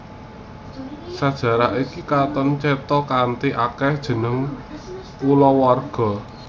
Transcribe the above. Sajarah iki katon cetha kanthi akèhé jeneng kulawarga